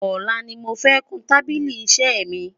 olá ní mọ fẹ kàn tábìlì iṣé mi